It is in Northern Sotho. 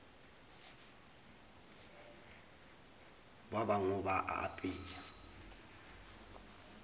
ba bangwe ba a apea